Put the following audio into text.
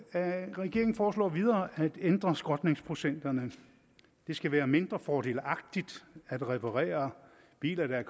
regeringen foreslår videre at ændre skrotningsprocenterne det skal være mindre fordelagtigt at reparere biler der